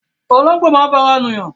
Ológbò máa ń fara nù yàn